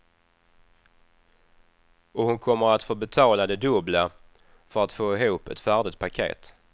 Och hon kommer att få betala det dubbla för att få ihop ett färdigt paket.